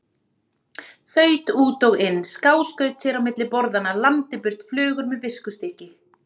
Þaut út og inn, skáskaut sér á milli borðanna, lamdi burt flugur með viskustykki.